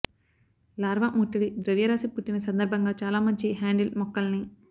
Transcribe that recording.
larva ముట్టడి ద్రవ్యరాశి పుట్టిన సందర్భంగా చాలా మంచి హ్యాండిల్ మొక్కల్ని